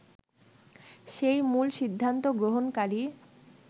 সে-ই মূল সিদ্ধান্ত গ্রহণকারী